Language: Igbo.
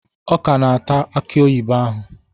Ọ ka na-ata aki oyibo ahụ.